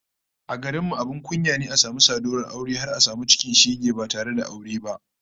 A garin mu abin kunya ne a samu saduwar aure har a samu cikin shege ba tare da aure ba